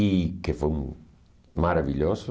e que foi hum maravilhoso.